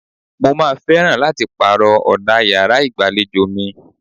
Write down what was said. Mo máa fẹ́ràn láti pàrọ̀ ọ̀dà yàrá ìgbàlejò mi.